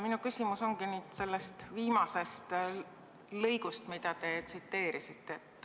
Minu küsimus ongi selle viimase lõigu kohta, mida te tsiteerisite.